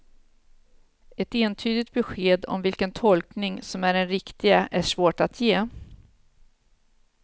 Ett entydigt besked om vilken tolkning som är den riktiga är svårt att ge.